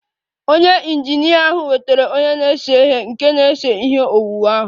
Onye injinia ahụ wetara onye na-ese ihe nke na-ese ihe owuwu ahụ